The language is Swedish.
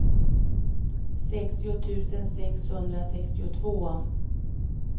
sextio tusen sexhundrasextiotvå